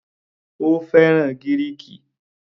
Ó fẹ́ràn Gíríìkì.